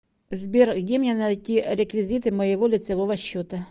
сбер где мне найти реквизиты моего лицевого счета